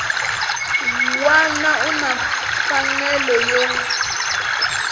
wana u na mfanelo yo